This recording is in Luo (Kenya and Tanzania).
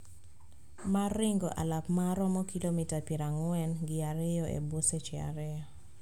Mar ringo alap ma romo kilomita pier ang`wen gi ariyo e bwo seche ariyo